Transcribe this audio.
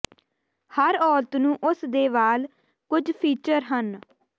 ਹਰ ਔਰਤ ਨੂੰ ਉਸ ਦੇ ਵਾਲ ਕੁਝ ਫੀਚਰ ਹਨ